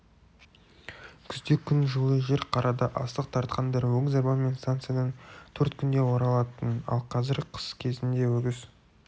күзде күн жылы жер қарада астық тартқандар өгіз арбамен станциядан төрт күнде оралатын ал қазір қыс кезінде өгіз